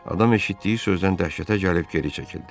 Adam eşitdiyi sözdən dəhşətə gəlib geri çəkildi.